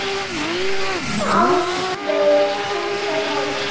Áslaug sextán ára.